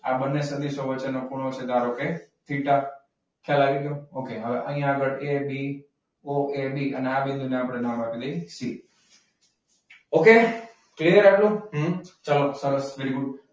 આ બંને સદીશો વચ્ચેનો ખૂણો છે. ધારો, કે થીટા ખ્યાલ આવી ગયો? okay અહીંયા આગળ એબી ઓ એ બી અને આ બિંદુ ને આપણે નામ આપી દઈએ સી. okay ચાલો સરસ વેરી ગુડ.